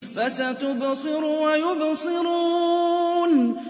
فَسَتُبْصِرُ وَيُبْصِرُونَ